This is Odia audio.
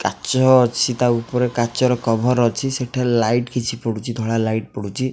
କାଚ ଅଛି ତା ଉପରେ କାଚ ର କଭର୍ ଅଛି ସେଠାରେ ଲାଇଟ କିଛି ପଡୁଛି ଧଳା ଲାଇଟ ପଡୁଛି।